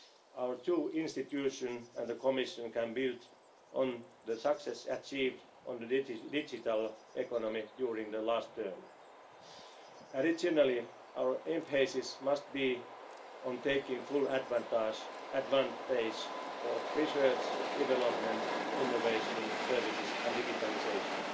growth. Our two institutions and the Commission can build on the success achieved on the digital economy during the last term. Additionally, our emphasis must be on taking full advantage of research, development, innovation, services and